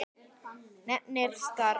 Nefndir starfa